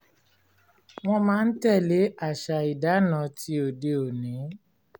wọ́n máa ń tẹ̀lé àṣà ìdáná tí òde-òní